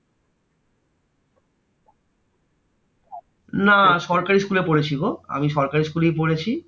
না সরকারি school এ পড়েছি গো। আমি সরকারি school এই পড়েছি।